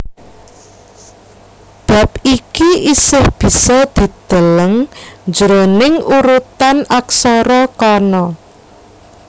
Bab iki isih bisa didelelng jroning urutan aksara Kana